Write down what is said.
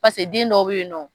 den dɔw bɛ yen nɔ